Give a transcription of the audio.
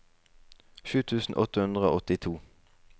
sju tusen åtte hundre og åttito